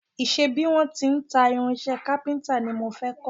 Ìṣe bí wọ́n ti ń ta irinṣẹ́ kápíntà ni mo fẹ́ kọ́